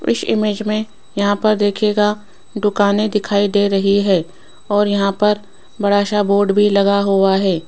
इस इमेज में यहां पर देखिएगा दुकाने दिखाई दे रही है और यहां पर बड़ा सा बोर्ड भी लगा हुआ है।